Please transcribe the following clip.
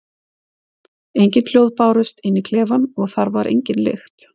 Engin hljóð bárust inn í klefann og þar var engin lykt.